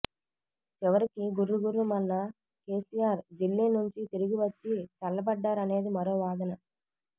చివరికి గుర్రుగుర్రుమన్న కెసిఆర్ దిల్లీ నుంచి తిరిగి వచ్చి చల్లబడ్డారనేది మరో వాదన